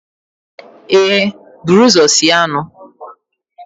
ee, buru ụzọ sie anụ